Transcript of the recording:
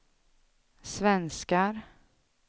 svenskar